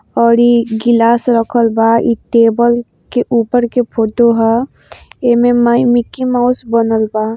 ओर इ गिलास रखल बा इ टेबल के ऊपर के फोटो ह | इमे माई मिक्की माउस बनल बा ।